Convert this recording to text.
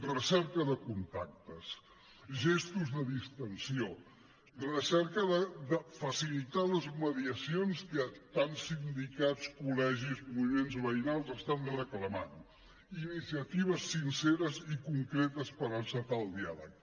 recerca de contactes gestos de distensió recerca de facilitar les mediacions que tant sindicats col·legis moviments veïnals estan reclamant iniciatives sinceres i concretes per encetar el diàleg